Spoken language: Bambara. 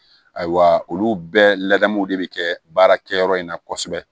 Ayiwa olu bɛɛ ladamuw de be kɛ baarakɛyɔrɔ in na kosɛbɛ